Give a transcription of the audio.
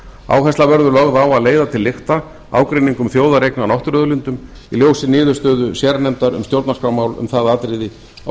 áhersla verður lögð á að leiða til lykta ágreining um þjóðareign á náttúruauðlindum í ljósi niðurstöðu sérnefndar um stjórnarskrármál um það atriði á